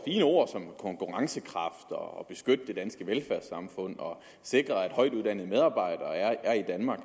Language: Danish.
fine ord som konkurrencekraft og beskyttelse af det danske velfærdssamfund og sikring af at højtuddannede medarbejdere er i danmark